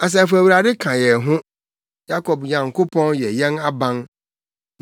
Asafo Awurade ka yɛn ho. Yakob Nyankopɔn yɛ yɛn aban.